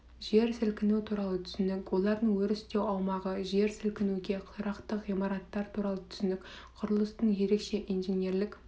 жер сілкінісі туралы түсінік олардың өрістеу аумағы жер сілкінуге тұрақты ғимараттар туралы түсінік құрылыстың ерекше инженерлік